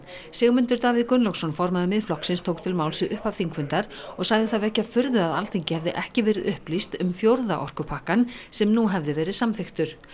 Sigmundur Davíð Gunnlaugsson formaður Miðflokksins tók til máls við upphaf þingfundar og sagði það vekja furðu að Alþingi hefði ekki verið upplýst um fjórða orkupakkann sem nú hefði verið samþykktur